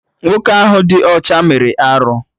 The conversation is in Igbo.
Nwoke ahụ dị ọcha mere arụ